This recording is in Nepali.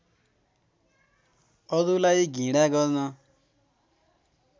अरुलाई घृणा गर्न